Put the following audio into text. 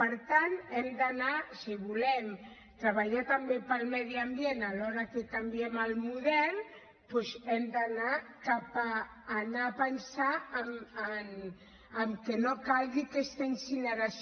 per tant si volem treballar també per al medi ambient alhora que canviem el model hem d’anar cap a pensar en que no calgui aquesta incineració